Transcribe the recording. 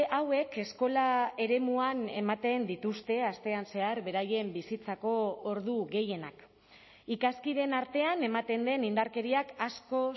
hauek eskola eremuan ematen dituzte astean zehar beraien bizitzako ordu gehienak ikaskideen artean ematen den indarkeriak asko